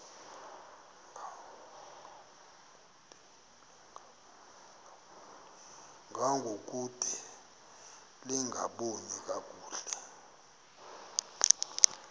ngangokude lingaboni kakuhle